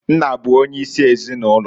Nna bụ onye isi ezinụlọ.